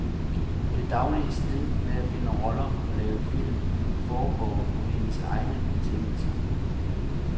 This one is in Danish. Det daglige slid med at finde roller og lave film, foregår på hendes egne betingelser.